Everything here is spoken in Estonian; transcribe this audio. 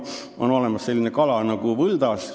On olemas selline kala nagu võldas.